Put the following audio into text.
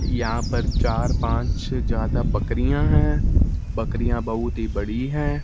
यहां पर चार-पांच से ज्यादा बकरियां है। बकरियां बहुत ही बड़ी है।